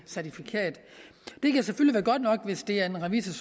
certifikat det kan selvfølgelig være godt nok hvis det er en revisor